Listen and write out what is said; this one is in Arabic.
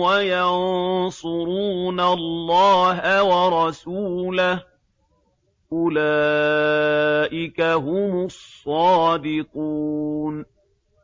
وَيَنصُرُونَ اللَّهَ وَرَسُولَهُ ۚ أُولَٰئِكَ هُمُ الصَّادِقُونَ